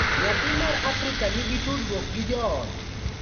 nyathi ma Afrika nigi tudruok gi joode,